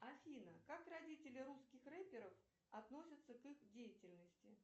афина как родители русских рэперов относятся к их деятельности